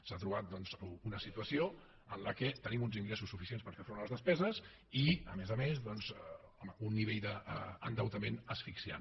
s’ha trobat una situació en la qual tenim uns ingressos suficients per fer front a les despeses i a més a més doncs home un nivell d’endeutament asfixiant